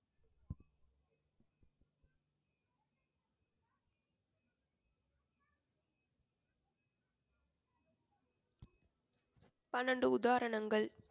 பன்னிரண்டு உதாரணங்கள்?